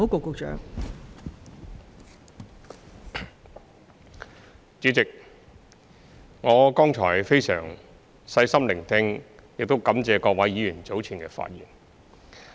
代理主席，我剛才非常細心聆聽並感謝各位議員早前的發言。